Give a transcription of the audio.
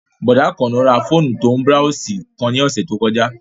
Bọ̀dá Àkànó ra fóònù tó ń búráósì kan lọ́sẹ̀ tó kọjá